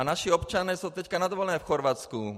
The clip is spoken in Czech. A naši občané jsou teď na dovolené v Chorvatsku.